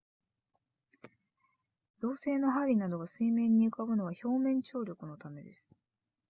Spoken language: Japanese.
鋼製の針などが水面に浮かぶのは表面張力のためです